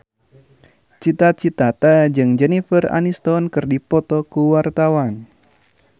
Cita Citata jeung Jennifer Aniston keur dipoto ku wartawan